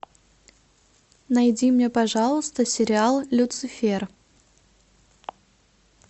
найди мне пожалуйста сериал люцифер